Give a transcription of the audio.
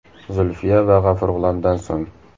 Zulfiya va G‘afur G‘ulomdan so‘ng.